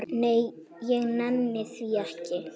Nei, ég nenni því ekki